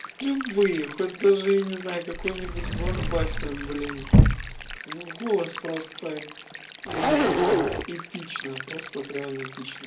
любые хоть даже я не знаю какой-нибудь блокбастер блин ну голос просто я не знаю эпично просто это реально эпично